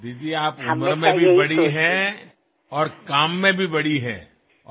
দিদি আপুনি বয়সতো ডাঙৰ আৰু কামতো ডাঙৰ